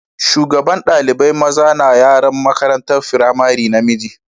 Shugaban dalibain maza na wakiltar yaran makarantan firamari namiji.